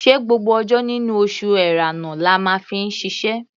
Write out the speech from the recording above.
Ṣé gbogbo ọjọ́ nínú oṣù Ẹ̀rẹnà la máa fi ṣiṣẹ́?